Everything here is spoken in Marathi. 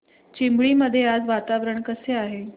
चिंबळी मध्ये आज वातावरण कसे आहे